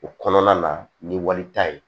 O kɔnɔna na ni wali ta ye